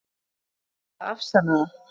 Ætlarðu að afsanna það?